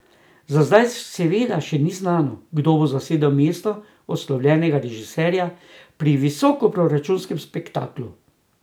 Za zdaj seveda še ni znano, kdo bo zasedel mesto odslovljenega režiserja pri visokoproračunskem spektaklu.